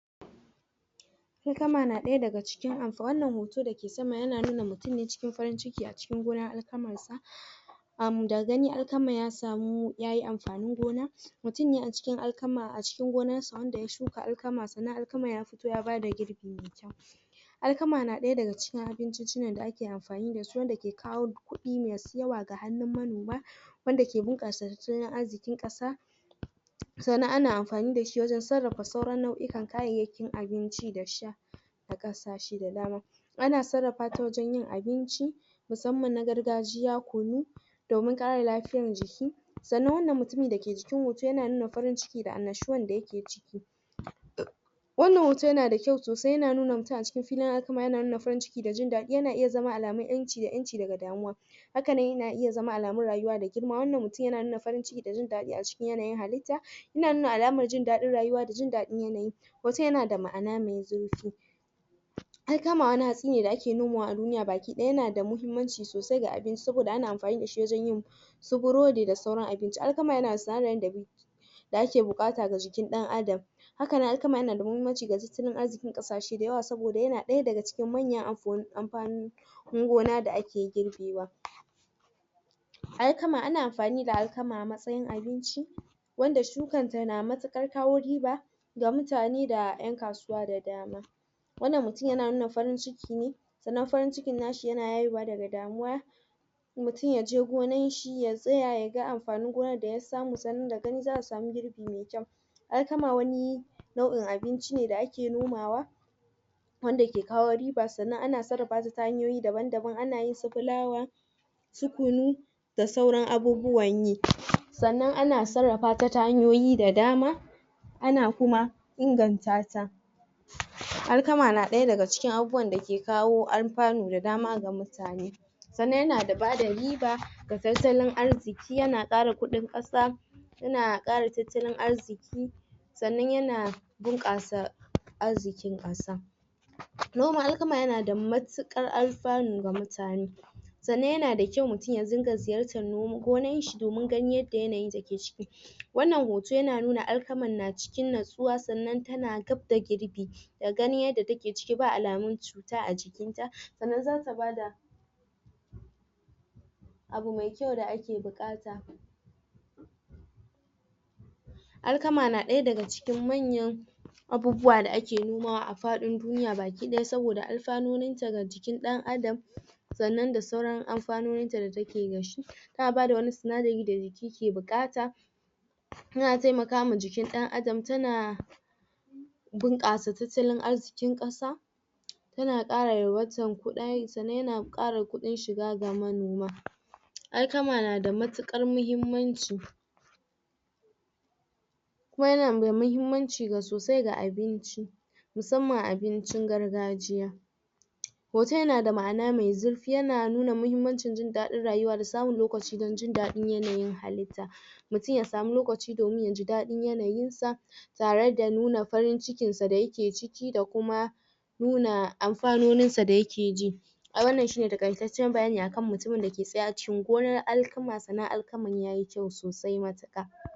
Hikama na daya daga cikin? wannan hoton dake sama yana nuna mutum ne cikin farin ciki acikin gona yana nuna mutum ne cikin farin ciki a cikin gonan alkaman sa kamu daga gani alkaman ya samu ya yi amfanin gona mutum ne a cikin alkama a cikin gonan sa wanda ya shuka alkama sannan alkama ya fito ya ba da girbi wanda ya shuka alkama sannan alkama ya fito ya ba da girbi mai kyau alkama na daya daga cikin abincincinan da ake amfani da su wanda ke kawo kudi masu yawa gahannun manoma wanda ke?? na arzikin kasa sannan ana amfani da shi wajen sarrafa sauran nauyi a kayayakin abinci da shai a kasashe da dama ana sarrafa ta wajen yin abinci musamman na gargajiya kunu domin kare lafiyan jiki sannan wannan mutumi da ke jikin hoto ya na nuna farin ciki da sannan wannan mutumi da ke jikin hoto ya na nuna farin ciki da annashuan da ya ke ciki wannan hoton ya na da kyau sosai ya na nuna mutum a cikin wannan hoton ya na da kyau sosai ya na nuna mutum a cikin filin alkama ya na nuna farin ciki da jin dadi ya na iya zaman alamai 'yan ci da 'yan ci da ga damuwa hakane ya na iya zama alamai rayuwa da girma wannan mutum ya na nuna farin ciki da jin dadi a cikin yanayin halitta ya na nuna alamar jin dadin rayuwa da jin dadin yanayi hoton ya na da ma'ana mai zurfi alkama wani hatsi ne da ake noma a duniya gabaki daya ya na da muhimmanci sosai ga abinci sobida ana amfani da shi wajan yin brodi da sauran abinci. alkama ya na?? da ake bukata ga jikin dan adam haka ne alkama ya nada muhimmanci wurin arzikin kasashe dayawa soboda ya na daya daga cikin manyan amfani na gona da ake girbewa alkama, ana amfani da alkama a matsayin abinci wanda shukan ta na matukar kawo riba da mutane da yan kasuwa da dama wannan mutum ya na nuna farin ciki ne sannan farin ciki na shi ya na haihuwa da ga damuwa mutum ya je gonan shi ya tsaya ya ga amfanin gonan da ya samu sannan daga gani za'a samugirbi mai kyau alkama wani? abinci ne da ake nomawa wanda ke kawo riba sannan a sarrafa ta ta hanyoyi daban daban a na yin su flour su kunu da sauran abubuwan yi sannan ana sarrafa ta ta hanyoyida dama ana kuma ingantata alkama na daya daga cikin abubuwan da ke kawo amfanu da dama ga mutane sannan ya na da ba da riba, ga zazzalin arziki, ya na kara kudin kasa ya na kara tattalin arziki sannan ya na ɓunkasa arzikin kasa noman alkama ya na da mattukar? ga mutane sannan ya na da kyau mutum ya din ga ziyarta gonan shi domin ga yanayin da ke cikin shi wannan hoton na nuna alkaman na cikin natsuwa sannan ta na gap da girbi daga ganin yadda ta ke ciki ba alamin cuta a jikin ta sannan za ta ba da abu maikyau da ake bukata alkama na daya daga cikin manyan abubuwa da ake noma a fadin duniya gabakidaya soboda alfanonin ta ga jikin dan adam sannan da sauran amfanonin ta da ta ke da shi ta ba da wani?? ke bukata ta na taimaka ma jikin dan adam ta na wannan mutum ya na nuna farin ciki ne bunkasa tattalin arzikin kasa ta na kara? wancan kudari sannan ya na kara ga kudin shiga ga manoma alkama na da mattukar muhimmanci kuma ya na mai muhimmanci ga sosai ga abinci musamman abincin gargajiya hoton ya na da ma'ana mai zurfi ya na nuna muhimmancin jin dadin rayuwa ba da samin lokaci dan jin dadin yanayin halitta mutum ya samu lokaci domin ya ji dadin yanayin sa tare da nuna farin cikin sa da yake ciki da kuma nuna amfanonin sa da ya ke ji ai wannan shi ne takaittacen bayani akan mutum da ke tsaya a cikin gonan alkama sannan alkaman ta yi kyau sosai mattuka